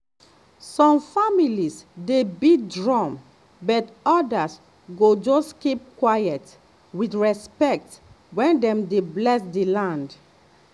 some families dey beat drum but others go just keep quiet with respect when dem dey bless the land.